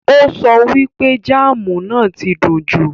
Ó so wípé jáámù náà ti dùn jù.